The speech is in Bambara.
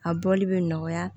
A bɔli bɛ nɔgɔya